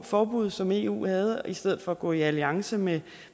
forbud som eu havde i stedet for at gå i alliance med